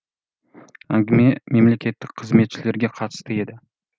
әңгіме мемлекеттік қызметшілерге қатысты еді